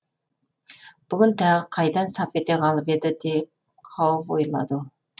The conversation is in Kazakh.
бүгін тағы қайдан сап ете қалып еді деп хауіп ойлады ол